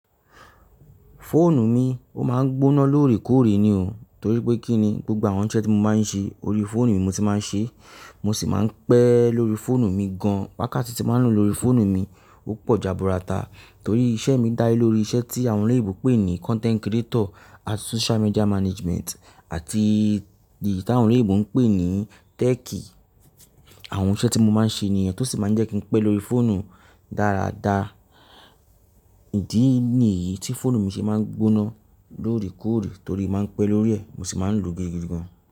Fóònù mi, ó máa ń gbóná lóòrèkóòrè ni o. Torí pé kí ni, gbogbo àwọn iṣẹ́ tí mo máa ń ṣe lórí fóònù mi mo ti máa ń ṣe, mo sì máa ń pẹ́ lórí fóònù mi gan. Wákàtí tí mo máa ń lò lórí fóònù mi ó pọ̀ jaburata torí iṣẹ́ mi dá ilórí iṣẹ́ tí àwọn oloyinbi ń pè ní content creator àti social media management àti ìdí tí àwọn oloyinbo ń pè ní tech. Àwọn iṣẹ́ tí mo máa ń ṣe nìyẹn tó sì máa ń jẹ́ kí pẹ́ lórí fóònù dáradára. Ìdí nìyí tí fóònù mi ṣe máa ń gbóná lóòrèkóòrè torí máa ń pẹ́ lórí ẹ̀, mo sì máa ń lò ó gidi gan.